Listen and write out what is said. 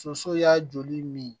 Soso y'a joli min